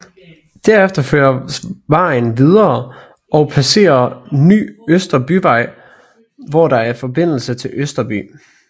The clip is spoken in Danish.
Derefter føres vejen videre og passerer Ny Østerbyvej hvorfra der er forbindelse til Østerby